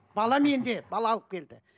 бала менде бала алып келді